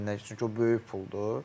Çünki o böyük puldur.